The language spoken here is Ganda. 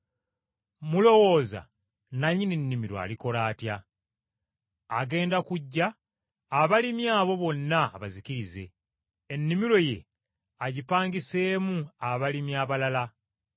“Mulowooza nannyini nnimiro alikola atya? Agenda kujja, abalimi abo bonna abazikirize, ennimiro ye agipangiseemu abalimi abalala.